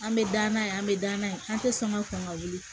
An bɛ da n'a ye an bɛ da na ye an tɛ sɔn ka kɔn ka wuli